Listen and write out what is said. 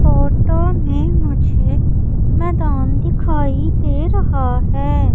Photo में मुझे मैदान दिखाई दे रहा है।